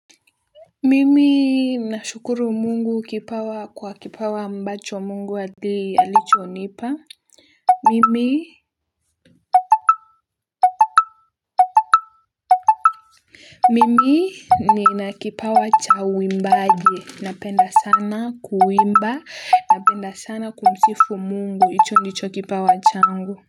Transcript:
Mimi nashukuru mungu kipawa kwa kipawa ambacho mungu adi alichonipa. Mimi nina kipawa cha uimbaji. Napenda sana kuimba. Napenda sana kumsifu mungu. Hicho ndicho kipawa changu.